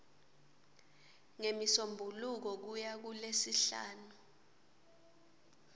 ngemisombuluko kuya kulesihlanu